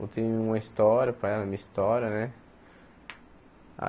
Contei uma história para ela, a minha história, né?